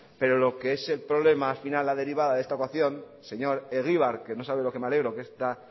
pero lo que es el problema la derivada de la ecuación señor egibar que no sabe lo que me alegro que esta